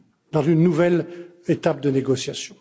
dans une nouvelle étape de négociation.